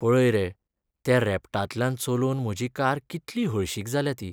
पळय रे त्या रेबटांतल्यान चलोवन म्हजी कार कितली हळशीक जाल्या ती.